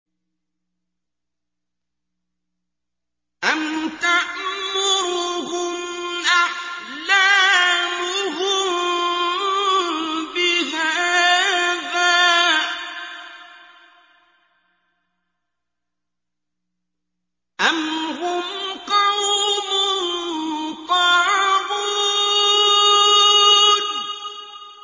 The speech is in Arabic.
أَمْ تَأْمُرُهُمْ أَحْلَامُهُم بِهَٰذَا ۚ أَمْ هُمْ قَوْمٌ طَاغُونَ